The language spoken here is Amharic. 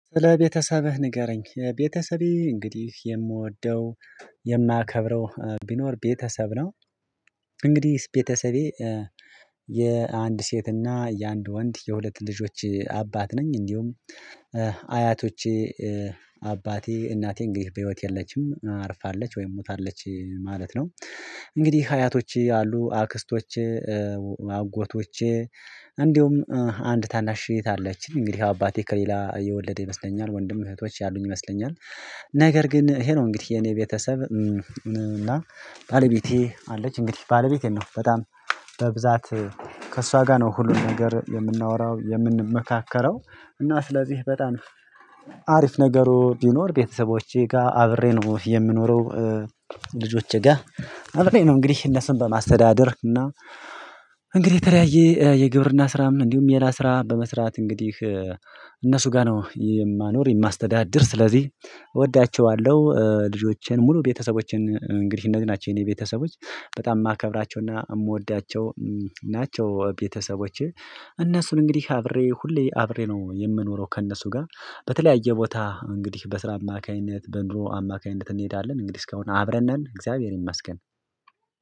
ስለ ቤተሰብህ ንገረኝ የቤተሰቤ እንግዲህ የምወደው የማከብረው ቢኖር ቤተሰብ ነው። እንግዲህ ቤተሰቤ የአንድ ሴትና የአንድ ወንድ የሁለት ልጆች አባት ነኝ። እንዲሁም አያቶቼ አባቴ እናቴ እንግዲህ በህይወት የለችም አርፋለች ወይም ሞታለች ማለት ነው። እንግዲህ ሀያቶች አሉ አክስቶች አጎቶች እንዲሁም አንድ ታናሽ እህት አለችኝ። እንግዲህ አባቴ ከሌላ የወለደ ይመስለኛል ወንድም እህቶች ያሉኝ ይመስለኛል። ነገር ግን ይሄ ነው እንግዲህ የኔ ቤተሰብ። ምንም እና ባለቤቴ አለች እንግዲህ ባለቤቴን ነው በጣም በብዛት ከእሷ ጋር ነው ሁሉን ነገር የምናወራው የምንመካከረው። እና ስለዚህ በጣም አሪፍ ነገሩ ቢኖር ቤተሰቦቼ ጋር አብሬ ነው የምኖረው። ልጆቼ ጋር አብሬ ነው ነው። እንግዲህ እነሱን በማስተዳደር እና እንግዲህ የተለያየ የግብርና ስራም እንዲሁም ሌላ ስራ በመስራት እንግዲህ እነሱ ጋር ነው የማኖር የማስተዳድር ስለዚህ እወዳቸዋለሁ። ልጆቼን ሙሉ ቤተሰቦቼን እንግዲህ እንደዚህ ናቸው የኔ ቤተሰቦች በጣም የማከብራቸውና የምወዳቸው ናቸው። ቤተሰቦች እነሱን እንግዲህ አብሬ ሁሌ አብሬ ነው የምኖረው። ከእነሱ ጋር በተለያየ ቦታ እንግዲህ በስራ አማካኝነት በኑሮ አማካኝነት እንሄዳለን እንግዲህ እስካሁን አብረን ነን እግዚአብሔር ይመስገን።